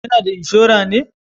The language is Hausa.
Ya na da inshora ne